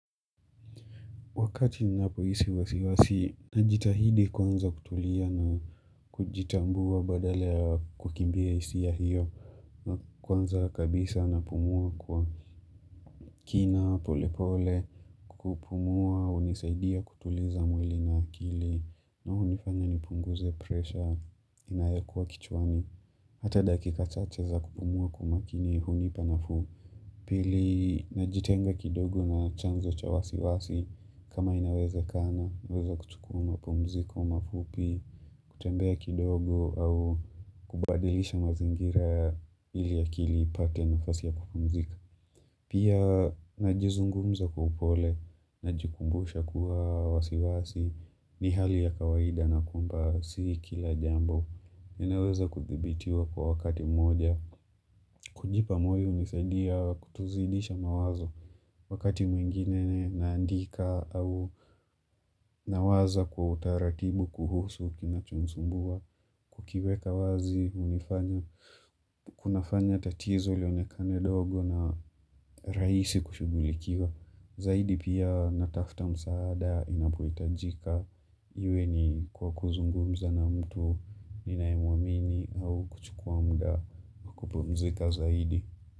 Wakati ninapohisi wasiwasi, nijitahidi kwanza kutulia na kujitambua badala ya kukimbia hisia hiyo. Kwanza kabisa napumua kwa kina, polepole, kupumua hunisaidia kutuliza mwili na akili. Na unifanya ni punguze presha inayokua kichwani. Hata dakika chateza kupumua kwamakini hunipa nafuu. Pili najitenga kidogo na chanzo cha wasiwasi kama inawezekana, naweza kuchukua mapumziko, mafupi, kutembea kidogo au kubadilisha mazingira ili akili ipate na fasi ya kupumzika. Pia najizungumza kwa upole, najikumbusha kuwa wasiwasi, ni hali ya kawaida na kwamba, si kila jambo, ninaweza kuthibitiwa kwa wakati mmoja. Kujipa moyo hunisaidiya kutozidisha mawazo wakati mwingine naandika au nawaza kwa utaratibu kuhusu kinacho nisumbua. Kukiweka wazi unifanya, kunafanya tatizo lionekane dogo na rahisi kushughulikiwa. Zaidi pia natafta msaada inapoitajika iwe ni kwa kuzungumza na mtu ninaemuamini au kuchukua mda kupumzika zaidi.